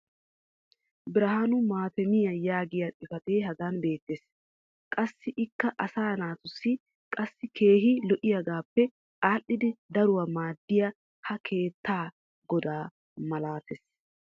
birhaaanu maatemmiya yaagiya xifatee hagan beetees. qassi ikka asaa naatussi qassi keehi lo'iyoogaappe aadhidi daruwa maaddiyoy ha keettaa godaa malatees.